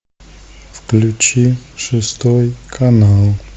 включи шестой канал